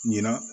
Ɲina